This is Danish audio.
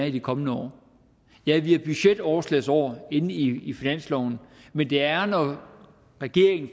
i de kommende år ja vi har budgetoverslagsår inde i finansloven men det er er når regeringen